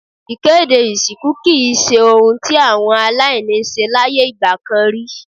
Ìkéde ìsìnkú kì í se ohun tí àwọn aláìní ń ṣe láyé ìgbà kan rí.